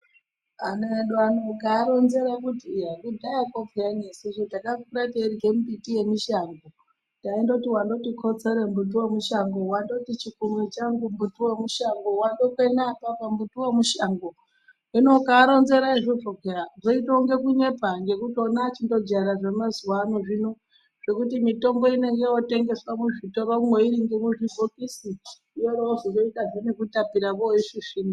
Ana edu ano ukaaronzera kuti kudhayakwo peyani isusu takakura teirye mbiti yemushango. Taindoti wandoti kotsore mbuti wemushango, wandoti chikunwe changu mbuti wemushango wandoti kwenei apapo mbuti wemushango hino ukaaronzera kudaro zvinonge kunyepa ngekuti ona achindojaira zvemazuwa ano zvino zvekuti mitombo inenge yotengeswa muzvitoromwo iri ngemuzvibhokisi yorozoitazve nekutapira voisvisvina.